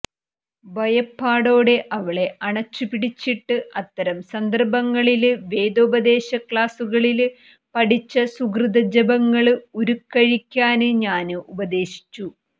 ഭയപ്പാടോടെ അവളെ അണച്ചുപിടിച്ചിട്ട് അത്തരം സന്ദര്ഭങ്ങളില് വേദോപദേശക്ലാസ്സുകളില് പഠിച്ച സുകൃതജപങ്ങള് ഉരുക്കഴിക്കാന് ഞാന് ഉപദേശിച്ചു